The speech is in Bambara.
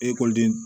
Ekɔliden